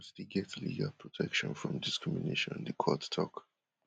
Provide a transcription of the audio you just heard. still get legal protection from discrimination di court tok